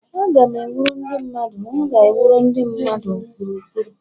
Aga m ewuru ndị mmadụ M ga-ewuru ndị mmadụ ụkpụrụ ụkpụrụ.